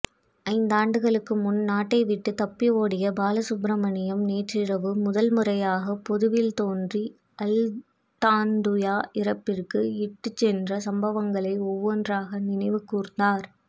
ஐந்தாண்டுகளுக்குமுன் நாட்டைவிட்டுத் தப்பியோடிய பாலசுப்ரமணியம் நேற்றிரவு முதல்முறையாக பொதுவில் தோன்றி அல்டான்துயா இறப்புக்கு இட்டுச்சென்ற சம்பவங்களை ஒவ்வொன்றாக நினைவுகூர்ந்தார்